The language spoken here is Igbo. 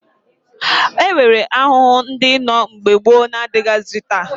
E nwere ahụhụ ndị nọ mgbe gboo na-adịghịzị taa